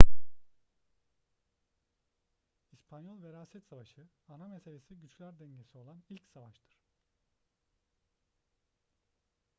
i̇spanyol veraset savaşı ana meselesi güçler dengesi olan ilk savaştır